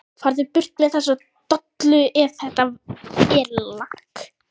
FARÐU BURT MEÐ ÞESSA DOLLU EF ÞETTA ER LAKK.